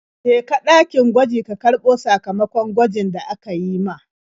Je ka ɗakin gwaji ka karɓo sakamakon gwajin da aka yi ma.